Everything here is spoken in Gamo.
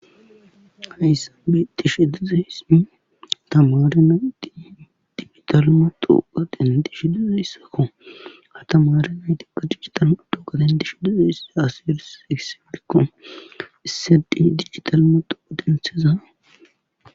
Hayssan beetishe dizayssi tamare nayti potuwa dendishe dizayssakko ha tamare nayti digita matawuqe dendishe dizayssi issi digital matawuqe denthida